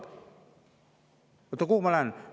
Kuhu ma siis lähen?